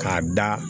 K'a da